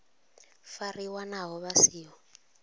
fariwa naho vha si ho